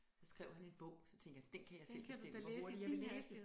Så skrev han en bog så tænkte jeg den kan jeg selv bestemme hvor hurtigt jeg vil læse